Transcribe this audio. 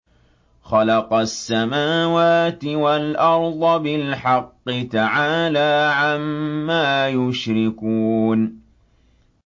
خَلَقَ السَّمَاوَاتِ وَالْأَرْضَ بِالْحَقِّ ۚ تَعَالَىٰ عَمَّا يُشْرِكُونَ